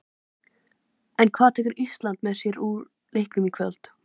En hvað tekur Ísland með sér úr leiknum í kvöld?